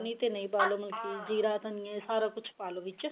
ਨਹੀਂ ਤੇ ਨਹੀਂ ਪਾ ਲਓ ਮਤਲਬ ਕਿ ਜੀਰਾ ਧਨੀਆ ਇਹ ਸਾਰਾ ਕੁੱਝ ਪਾ ਲਓ ਵਿੱਚ